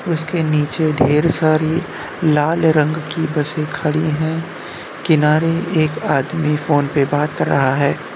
उसके नीचे ढेर सारी लाल रंग की बसे खड़ी हैं किनारे एक आदमी फोन पे बात कर रहा है।